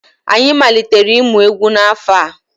Anyị malitere ịmụ egwu n'afọ a.